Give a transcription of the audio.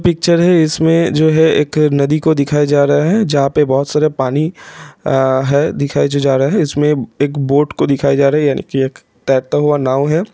Picture है जिसमें जो की एक जो नदी को दिखाया जा रहा है जहां पर बहुत सारा पानी है दिखाया जा रहा हैं। उसमें एक बोट को दिखाया जो जा रहा है यानी की एक तैरता हुआ नाव हैं।